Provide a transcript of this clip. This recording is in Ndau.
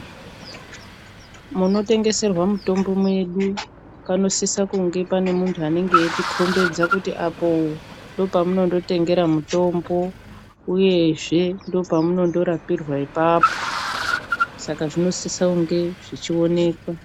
Munotengeserwa mutombo mwedu panosisa kunge pane muntu anenge eitikombedza kuti apo ndopamunondotengera mutombo uyezve ndopamunondorapirwa apapo saka zvinosise kunge zvichionekwa.